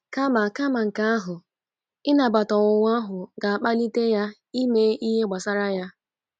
Kama Kama nke ahụ, ịnabata ọnwunwa ahu ga-akpalite ya ime ihe gbasara ya